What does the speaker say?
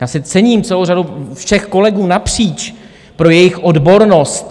Já si cením celé řady všech kolegů napříč pro jejich odbornost.